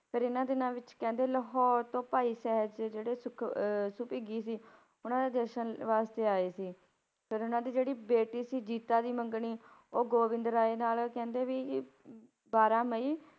ਫਿਰ ਇਹਨਾਂ ਦਿਨਾਂ ਵਿੱਚ ਕਹਿੰਦੇ ਲਾਹੌਰ ਤੋਂ ਭਾਈ ਜਿਹੜੇ ਸੁਖ~ ਸੁਭਿੱਗੀ ਸੀ ਉਹਨਾਂ ਦੇ ਦਰਸ਼ਨ ਵਾਸਤੇ ਆਏ ਸੀ, ਫਿਰ ਉਹਨਾਂ ਦੀ ਜਿਹੜੀ ਬੇਟੀ ਸੀ ਜੀਤਾਂ ਦੀ ਮੰਗਣੀ ਉਹ ਗੋਬਿੰਦ ਰਾਏ ਨਾਲ ਕਹਿੰਦੇ ਵੀ ਅਮ ਬਾਰਾਂ ਮਈ,